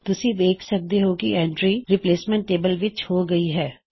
ਤੁਸੀ ਦੇਖ ਸਕਦੇ ਹੋਂ ਕੀ ਇਹ ਐੱਨਟਰੀ ਰਿਪ੍ਲੇਸਮੈਂਟ ਟੇਬਲ ਵਿੱਚ ਹੋ ਚੁੱਕੀ ਹੈ